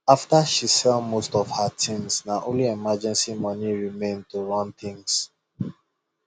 after she sell most of her things na only emergency money remain to run things